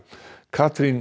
Katrín